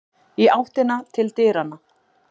Í áttina til dyranna.